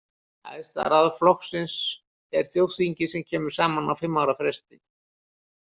Æðsta ráð flokksins er þjóðþingið sem kemur saman á fimm ára fresti.